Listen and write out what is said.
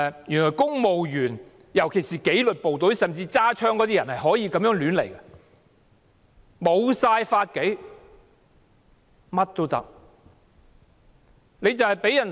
原來公務員，尤其是有佩槍的紀律部隊公務員便可以有恃無恐，目無法紀，為所欲為。